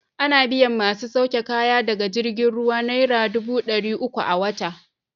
Ana biyan masu sauke kaya daga jirgin ruwa naira dubu ɗari uku a wata.